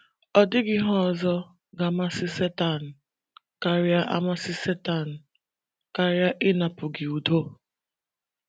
Ọ dịghị ihe ọzọ ga - amasị Setan karịa amasị Setan karịa um ịnapụ gị udo.